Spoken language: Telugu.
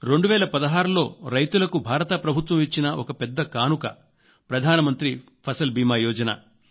2016 లో రైతులకు భారత ప్రభుత్వం ఇచ్చిన ఒక పెద్ద కానుక ప్రధానమంత్రి ఫసల్ బీమా యోజన